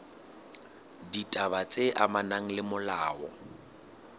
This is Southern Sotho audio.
ditaba tse amanang le molao